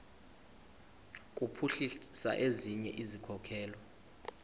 kuphuhlisa ezinye izikhokelo